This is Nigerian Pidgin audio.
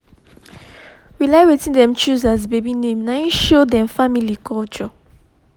we like wetin dem choose as baby name na him show dem family culture